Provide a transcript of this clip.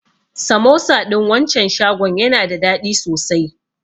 Samosa ɗin wancan shagon yana da daɗi sosai.